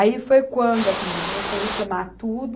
Aí foi quando as meninas começou a reclamar tudo,